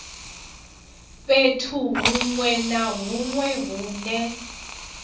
fhethu huṅwe na huṅwe hune